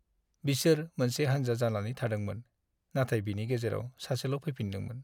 बिसोर मोनसे हान्जा जानानै थांदोंमोन, नाथाय बिनि गेजेराव सासेल' फैफिन्दोंमोन।